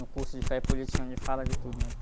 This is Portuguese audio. No curso de Fé e Política, onde fala de tudo, né?